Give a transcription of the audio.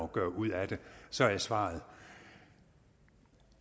gøre ud af det så er svaret